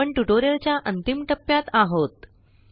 आपण ट्युटोरियलच्या अंतिम टप्प्यात आहोत